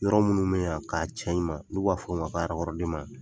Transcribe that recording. Yɔrɔ minnu mɛɲa k'a cɛɲuman in n'u b'a fɔ o ma ko .